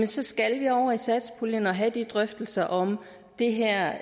så skal vi over i satspuljen og have de drøftelser om det her